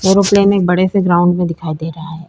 Aeroplane एक बड़े से ग्राउंड में दिखाई दे रहा है।